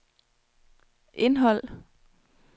indhold